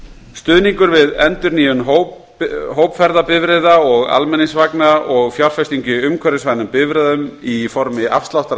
stuðningur við endurnýjun hópferðabifreiða og almenningsvagna og fjárfestingu í umhverfisvænum bifreiðum í formi afsláttar